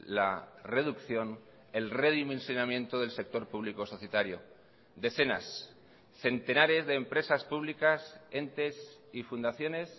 la reducción el redimensionamiento del sector público societario decenas centenares de empresas públicas entes y fundaciones